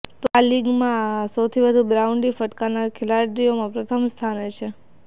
તે આ લીગમાં સૌથી વધુ બાઉન્ડ્રી ફટકારનાર ખેલાડીઓમાં પ્રથમ સ્થાને છે